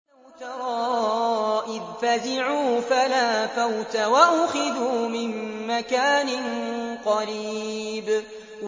وَلَوْ تَرَىٰ إِذْ فَزِعُوا فَلَا فَوْتَ وَأُخِذُوا مِن مَّكَانٍ قَرِيبٍ